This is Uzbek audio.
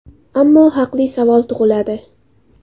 Ammo haqli savol tug‘iladi.